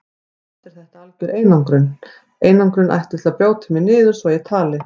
Samt er þetta algjör einangrun, einangrun ætluð til að brjóta mig niður svo ég tali.